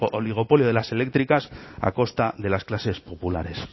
oligopolio de las eléctricas a costa de las clases populares